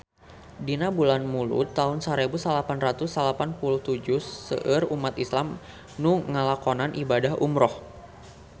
Dina bulan Mulud taun sarebu salapan ratus salapan puluh tujuh seueur umat islam nu ngalakonan ibadah umrah